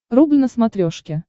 рубль на смотрешке